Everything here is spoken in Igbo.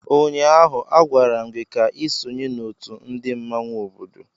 Ụnyaahụ, agwara m gị ka i sonye n'otu ndị mmanwụ obodo!